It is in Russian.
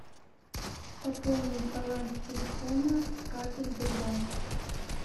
пополнить баланс телефона с карты сбербанк